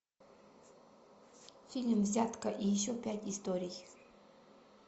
фильм взятка и еще пять историй